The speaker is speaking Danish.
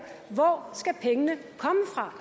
hvor skal pengene komme fra